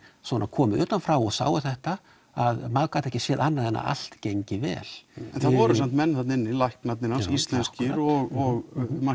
komu utan frá og sáu þetta að maður gat ekki séð annað en að allt gengi vel en það voru samt menn þarna inni læknarnir hans íslenskir og